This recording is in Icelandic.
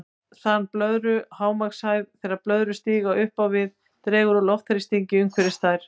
Þan blöðru og hámarkshæð Þegar blöðrur stíga upp á við dregur úr loftþrýstingi umhverfis þær.